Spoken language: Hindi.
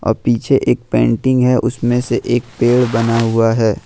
पीछे एक पेंटिंग है उसमें से एक पेड़ बना हुआ है ।